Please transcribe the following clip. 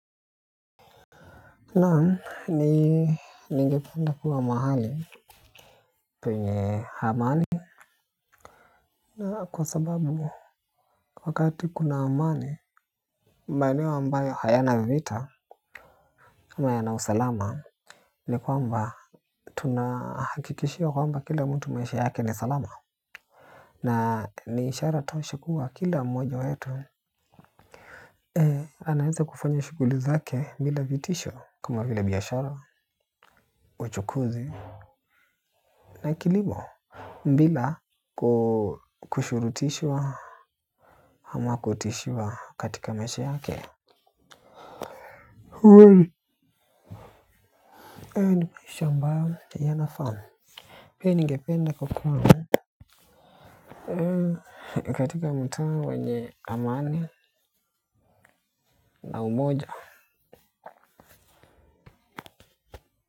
Naam, ni ningepanda kuwa mahali penye amani na kwa sababu wakati kuna amani maeneo ambayo hayana viita yana usalama. Ni kwamba tunahakikishio kwamba kila mtu maisha yake ni salama. Na ni ishara tosha kuwa kila mmoja wetu anaweze kufanya shughuli zake bila vitisho kama vile biashara uchukuzi na kilimo bila kushurutishwa kama kutishwa katika maishe yake. Hayo ndiyo maisha ambayo nayafahamu. Pia ningependa kukua katika mutaa wenye amani na umoja.